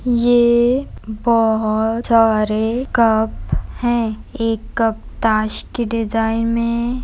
ये बोहोत सारे कप हैं एक कप ताश की डिजाईन में--